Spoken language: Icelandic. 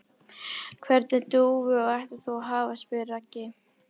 Hvernig dúfu ætlar þú að hafa? spyr Raggi.